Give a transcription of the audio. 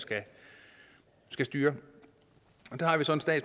skal styre og